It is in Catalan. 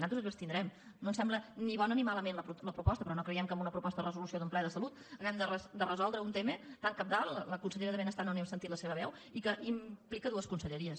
nosaltres ens abstindrem no ens sembla ni bona ni malament la proposta però no creiem que amb una proposta de resolució d’un ple de salut hàgim de resoldre un tema tan cabdal a la consellera de benestar no li hem sentit la seva veu i que implica dues conselleries